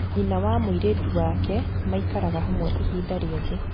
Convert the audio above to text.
Nyina na mũirĩtu wake maikaraga hamwe ihinda rĩothe.